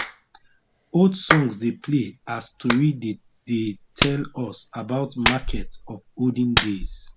old songs dey play as tori dey dey tell us about market of olden days